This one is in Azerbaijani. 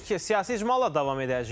Siyasi icmalla davam edəcəyik.